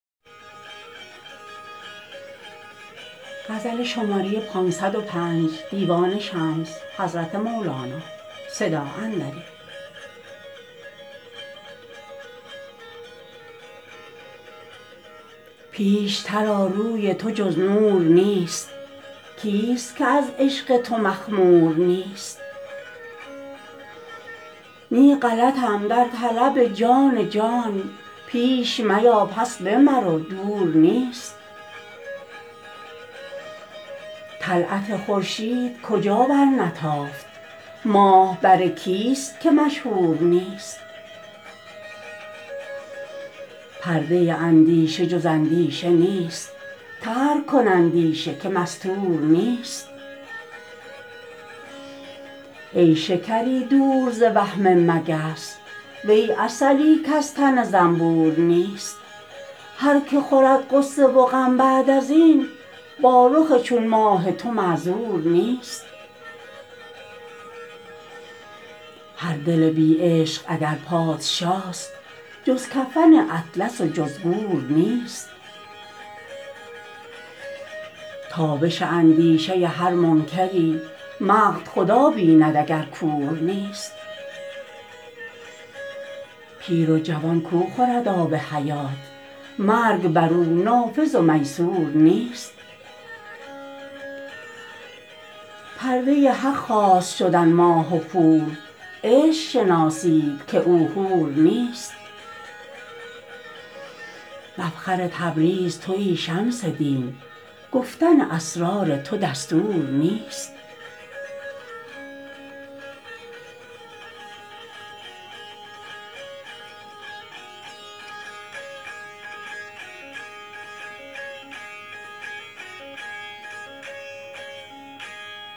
پیشتر آ روی تو جز نور نیست کیست که از عشق تو مخمور نیست نی غلطم در طلب جان جان پیش میا پس به مرو دور نیست طلعت خورشید کجا برنتافت ماه بر کیست که مشهور نیست پرده اندیشه جز اندیشه نیست ترک کن اندیشه که مستور نیست ای شکری دور ز وهم مگس وی عسلی کز تن زنبور نیست هر که خورد غصه و غم بعد از این با رخ چون ماه تو معذور نیست هر دل بی عشق اگر پادشاست جز کفن اطلس و جز گور نیست تابش اندیشه هر منکری مقت خدا بیند اگر کور نیست پیر و جوان کو خورد آب حیات مرگ بر او نافذ و میسور نیست پرده حق خواست شدن ماه و خور عشق شناسید که او حور نیست مفخر تبریز توی شمس دین گفتن اسرار تو دستور نیست